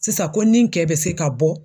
Sisan ko ni kɛ be se ka bɔ